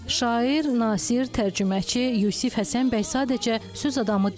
Şair, nasir, tərcüməçi Yusif Həsənbəy sadəcə söz adamı deyil.